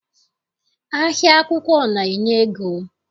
Ahịa akwụkwọ na- enye ego.